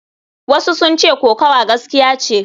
Wasu sun ce kokawa gaskiya ce.